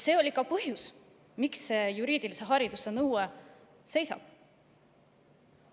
See on ka põhjus, miks see juriidilise hariduse nõue seal seisab.